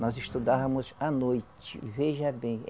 Nós estudávamos à noite, veja bem.